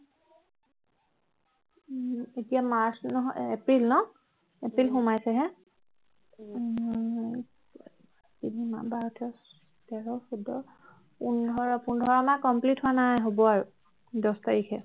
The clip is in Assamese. এতিয়া March নহয় April ন April সোমাইছেহে ন দহ এঘাৰ বাৰ তেৰ চৌধ পোন্ধৰ পোন্ধৰ মাহ complete হোৱা নাই হব আৰু দহ তাৰিখে